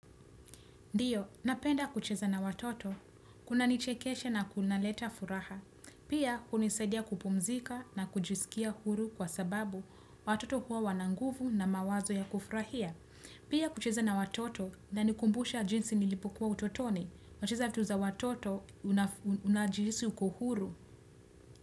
Ndio, napenda kucheza na watoto. Kuna nichekesha na kunaleta furaha. Pia, hunisaidia kupumzika na kujisikia huru kwa sababu watoto huwa wana nguvu na mawazo ya kufurahia. Pia, kucheza na watoto inanikumbusha jinsi nilipokuwa utotoni. Wacheza vitu za watoto unajihisi uko huru.